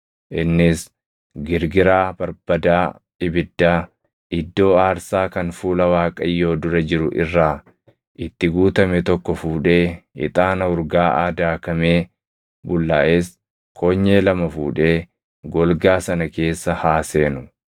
Innis girgiraa barbadaa ibiddaa iddoo aarsaa kan fuula Waaqayyoo dura jiru irraa itti guutame tokko fuudhee ixaana urgaaʼaa daakamee bullaaʼes konyee lama fuudhee golgaa sana keessa haa seenu.